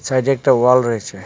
সাইডে একটা ওয়াল রয়েছে.